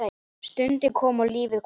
Stundin kom og lífið hvarf.